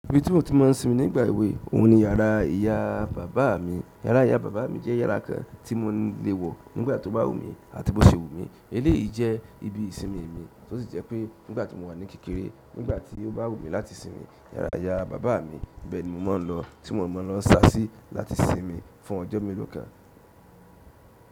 Ibi tí mo ti máa ń sinmi nígbà èwe, òun ni yàrá ìyá bàbá mi. Yàrá ìyá bàbá mi jẹ́ yàrá kan tí mo le wọ̀ nígbà tó bá wù mí àti bó ṣe wù mí. Eléyìí jẹ́ ibi ìsinmi mi, tí ó sì jẹ́ pé nígbà tí mo wà ní kékeré, nígbà tí ó bá wù mí láti sinmi, yàrá ìyá bàbá mi bẹ́ẹ̀ ni mo máa ń lọ, tí mò ń lọ sa sí láti sinmi fún ọjọ́ mélòó kan.